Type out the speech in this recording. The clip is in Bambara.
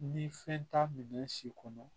Ni fɛn t'a minɛ si kɔnɔ